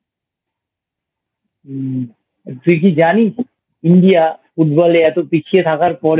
উম তুই কি জানিস? India Football এ এত পিছিয়ে থাকার পরেও